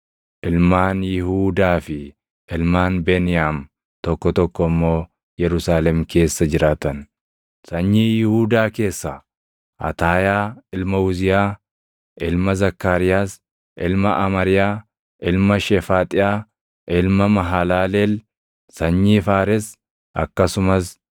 ilmaan Yihuudaa fi ilmaan Beniyaam tokko tokko immoo Yerusaalem keessa jiraatan. Sanyii Yihuudaa Keessaa: Ataayaa ilma Uziyaa, ilma Zakkaariyaas, ilma Amariyaa, ilma Shefaaxiyaa, ilma Mahalaleel, sanyii Faares; akkasumas